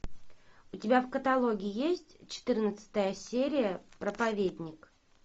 у тебя в каталоге есть четырнадцатая серия проповедник